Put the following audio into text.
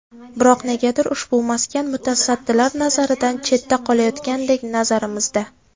Biroq negadir ushbu maskan mutasaddilar nazaridan chetda qolayotgandek nazarimizda.